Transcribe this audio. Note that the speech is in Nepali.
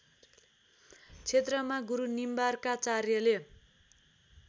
क्षेत्रमा गुरु निम्बार्काचार्यले